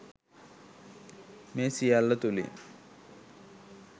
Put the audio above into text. මේ සියල්ල තුළින්